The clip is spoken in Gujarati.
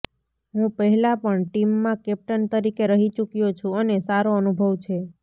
હું પહેલા પણ ટીમમાં કેપ્ટન તરીકે રહી ચૂક્યો છું અને સારો અનુભવ છે